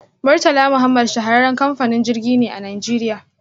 Murtala Muhammad shahararren kamfanin jirgi ne a najeriya.